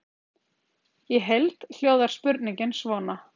Í heild hljóðar spurningin svona: